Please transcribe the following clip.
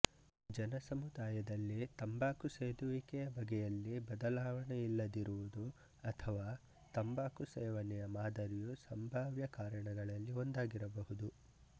ಜನಸಮುದಾಯದಲ್ಲಿ ತಂಬಾಕು ಸೇದುವಿಕೆಯ ಬಗೆಯಲ್ಲಿ ಬದಲಾವಣೆಯಿಲ್ಲದಿರುವುದು ಅಥವಾ ತಂಬಾಕು ಸೇವನೆಯ ಮಾದರಿಯು ಸಂಭಾವ್ಯ ಕಾರಣಗಳಲ್ಲಿ ಒಂದಾಗಿರಬಹುದು